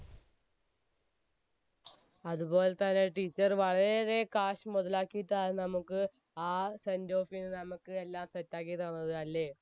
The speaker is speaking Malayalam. അതുപോലെ തന്നെ teacher വളരെ ഏറെ cash മൊതലാക്കിയിട്ടാണ് നമ്മക്ക് ആ sendoff ന് നമുക്ക് എല്ലാം set ആക്കി തന്നത് അല്ലെ